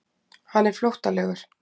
Hann er flóttalegur.